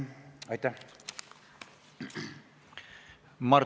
Aitäh!